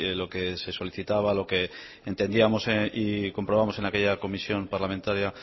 lo que se solicitaba lo que entendíamos y que comprobamos en aquella comisión parlamentaria